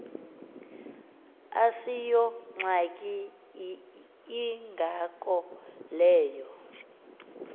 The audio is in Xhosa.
asiyongxaki ingako leyo